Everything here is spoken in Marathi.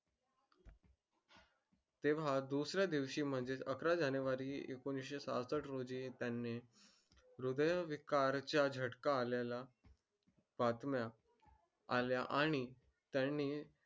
तेव्हा दुसऱ्या दिवशी म्हणजे च अकरा जानेवारी एकोणीशे साहशष्ठ रोजी त्यानी वृद्वय विकारच्या झटका आलेला बातम्या आल्या आणि त्यानी